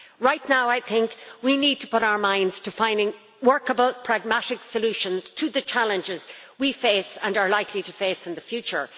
Right now, I think we need to put our minds to finding workable pragmatic solutions to the challenges we face and are likely to face in the future.